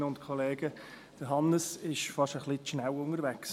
Hannes Zaugg ist für mich heute Morgen fast etwas zu schnell unterwegs.